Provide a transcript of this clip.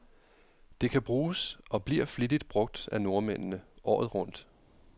Det kan bruges, og bliver flittigt brug af nordmændene, året rundt.